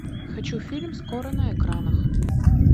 хочу фильм скоро на экранах